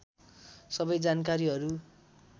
सबै जानकारीहरू